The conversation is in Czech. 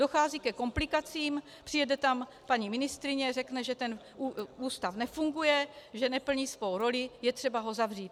Dochází ke komplikacím, přijede tam paní ministryně, řekne, že ten ústav nefunguje, že neplní svou roli, je třeba ho zavřít.